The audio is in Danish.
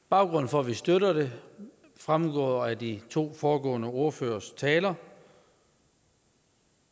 baggrunden for at vi støtter dem fremgår af de to foregående ordføreres taler